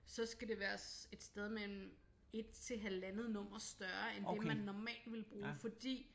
Så skal det være et sted mellem 1 til halvandent nummer større end det man normalt ville bruge fordi